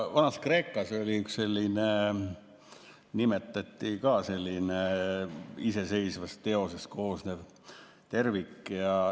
Vana‑Kreekas oli üks selline, nagu nimetati ka, iseseisvast teosest koosnev tervik.